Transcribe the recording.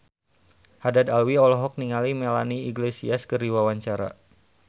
Haddad Alwi olohok ningali Melanie Iglesias keur diwawancara